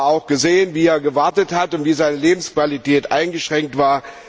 Ich habe aber auch gesehen, wie er gewartet hat und wie seine Lebensqualität eingeschränkt war.